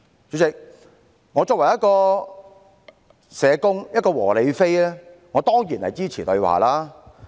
主席，我作為一個社工、"和理非"，我當然支持對話。